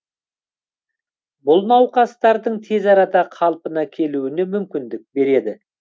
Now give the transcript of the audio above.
бұл науқастардың тез арада қалпына келуіне мүмкіндік береді